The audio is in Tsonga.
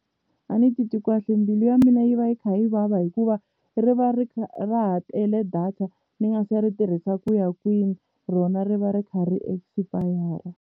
A ni titwi kahle mbilu ya mina yi va yi kha yi vava hikuva ri va ri kha ra ha tele data ni nga se ri tirhisa ku ya kwini rona ri va ri kha ri expire.